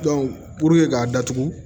puruke k'a datugu